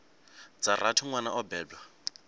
dza rathi nwana o bebwa